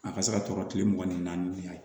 A ka se ka tɔɔrɔ kile mugan ni naani ye